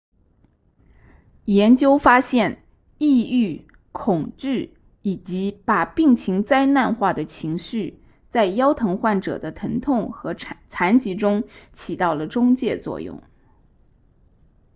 研究发现抑郁恐惧以及把病情灾难化的情绪在腰疼患者的疼痛和残疾中起到了中介作用